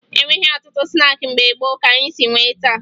E nweghi ọtụtụ snaakị mgbe gboo ka anyị si nwee taa